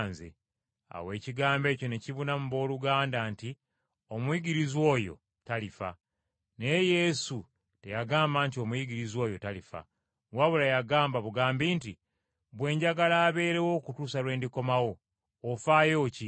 Awo ekigambo ekyo ne kibuna mu booluganda nti omuyigirizwa oyo talifa. Naye Yesu teyagamba nti omuyigirizwa oyo talifa, wabula yagamba bugambi nti, “Bwe njagala abeerawo okutuusa lwe ndikomawo, ofaayo ki?”